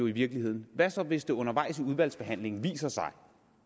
i virkeligheden hvad så hvis det undervejs i udvalgsbehandlingen viser sig